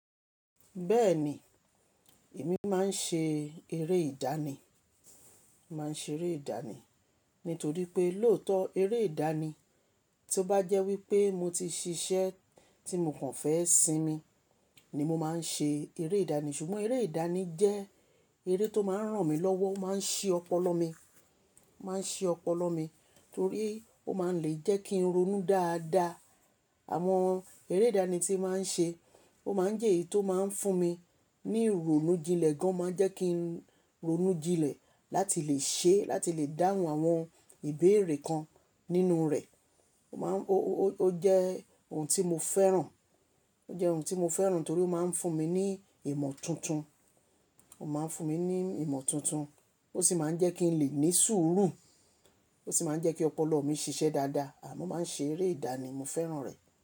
Bẹ́ẹ̀ni, èmi máa ń ṣe eré ìdánì, máa ń ṣe eré ìdánì. Nítorí pé lóòótọ́ eré ìdánì tí ó bá jẹ́ wípé mo ti ṣiṣẹ́ tí mo kàn fẹ́ sinmi ni mo máa ń ṣe eré ìdánì. Ṣùgbọ́n eré ìdánì jẹ́ eré tó máa ń ràn mí lọ́wọ́, ó máa ń ṣe ọpọlọ mi, máa ń ṣe ọpọlọ mi torí ó máa ń lè jẹ́ kí n ronú dáadáa. Àwọn eré ìdánì tí màá ń ṣe ó máa ń jẹ́ èyí tó máa ń fún mi ní ìrònú jinlẹ̀ gan, máa jẹ́ kí n ronú jinlẹ̀ láti lè ṣe, láti lè dáhùn àwọn ìbéèrè kan nínú rẹ̀. Ó má ń, ó, ó jẹ́ ohun tí mo fẹ́ràn, ó jẹ́ ohun tí mo fẹ́ràn torí ó máa ń fún mi ní ìmọ̀ tuntun. Ó máa ń fún mi ní ìmọ̀ tuntun, ó sì máa ń jẹ́ kí n lè ní sùúrù. Ó sì máa ń jẹ́ kí ọpọlọ mi ṣiṣẹ́ dáadáa. À mo máa ń ṣe eré ìdánì, mo fẹ́ràn rẹ̀